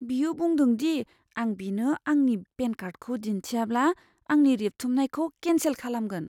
बियो बुंदों दि आं बिनो आंनि पेन कार्डखौ दिन्थियाब्ला, आंनि रेबथुमनायखौ केन्सेल खालामगोन।